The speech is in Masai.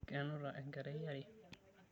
Kenuta enkerai yare.